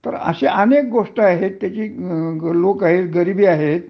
तर असे अनेक गोष्ट आहे लोक आहे गरिबी आहे